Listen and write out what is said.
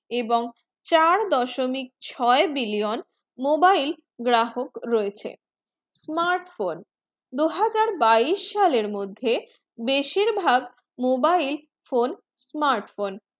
এবং চার দশমিক ছয়ে billion mobile গ্রাহক রয়েছে smart phone দুই হাজার বাইশ সালের মদে বেশির ভায়াক mobile phone smart phone